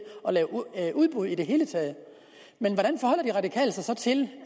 lave udbud i det hele taget men hvordan forholder de radikale sig så til